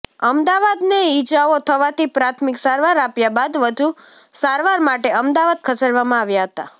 અમદાવાદ ને ઇજાઓ થવાથી પ્રાથમિક સારવાર આપ્યા બાદ વધુ સારવાર માટે અમદાવાદ ખસેડવામાં આવ્યા હતા